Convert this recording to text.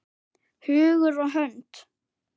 Hugur og hönd.